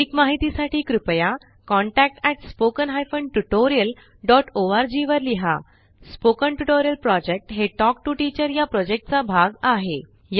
अधिक माहितीसाठी कृपया contact at spoken hyphen tutorial dot ORG वर लिहा स्पोकन ट्युटोरियल प्रॉजेक्ट हे टॉक टू टीचर या प्रॉजेक्टचा भाग आहे